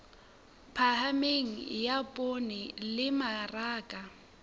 phahameng ya poone le mmaraka